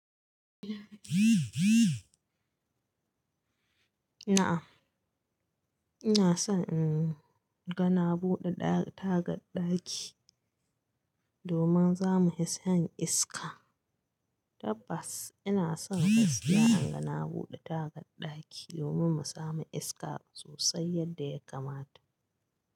Na'am, ina son in ga na buɗe tagar ɗaki, domin za mu fi shan iska. Tabbas ina son ka saya an ga na buɗe tagar ɗaki domin mu samu iska sosai yadda ya kamata.